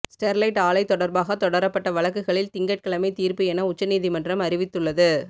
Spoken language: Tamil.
ஸ்டெர்லைட் ஆலை தொடர்பாக தொடரப்பட்ட வழக்குகளில் திங்கட்கிழமை தீர்ப்பு என உச்சநீதிமன்றம் அறிவித்துள்ளது